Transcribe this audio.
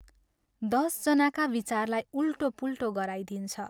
दश जनाका विचारलाई उल्टोपुल्टो गराइदिन्छ।